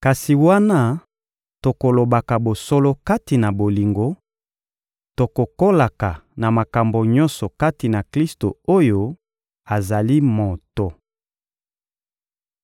Kasi wana tokolobaka bosolo kati na bolingo, tokokolaka na makambo nyonso kati na Klisto oyo azali moto.